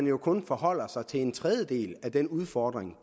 jo kun forholder sig til en tredjedel af den udfordring